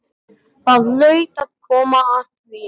Það hlaut að koma að því